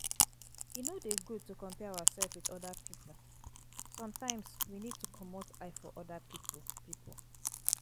E no dey good to compare ourselves with oda pipo sometimes we need to comot eye for oda pipo pipo